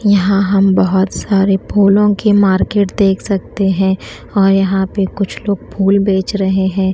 यहां हम बहुत सारे फूलों की मार्केट देख सकते हैं और यहां पे कुछ लोग फूल बेच रहे हैं।